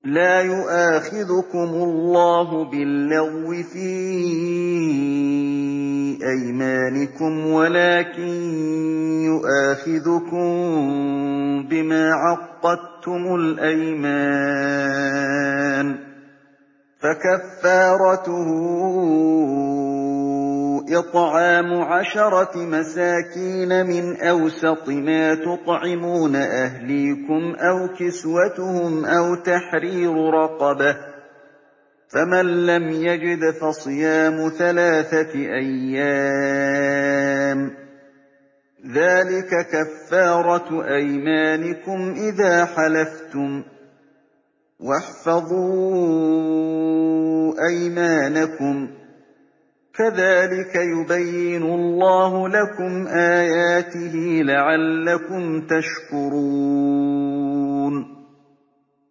لَا يُؤَاخِذُكُمُ اللَّهُ بِاللَّغْوِ فِي أَيْمَانِكُمْ وَلَٰكِن يُؤَاخِذُكُم بِمَا عَقَّدتُّمُ الْأَيْمَانَ ۖ فَكَفَّارَتُهُ إِطْعَامُ عَشَرَةِ مَسَاكِينَ مِنْ أَوْسَطِ مَا تُطْعِمُونَ أَهْلِيكُمْ أَوْ كِسْوَتُهُمْ أَوْ تَحْرِيرُ رَقَبَةٍ ۖ فَمَن لَّمْ يَجِدْ فَصِيَامُ ثَلَاثَةِ أَيَّامٍ ۚ ذَٰلِكَ كَفَّارَةُ أَيْمَانِكُمْ إِذَا حَلَفْتُمْ ۚ وَاحْفَظُوا أَيْمَانَكُمْ ۚ كَذَٰلِكَ يُبَيِّنُ اللَّهُ لَكُمْ آيَاتِهِ لَعَلَّكُمْ تَشْكُرُونَ